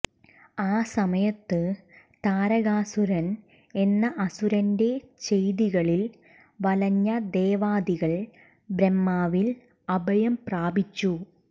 ആ സമയത്ത് താരകാസുരൻ എന്ന അസുരന്റെ ചെയ്തികളിൽ വലഞ്ഞ ദേവാദികൾ ബ്രഹ്മാവിൽ അഭയം പ്രാപിച്ചു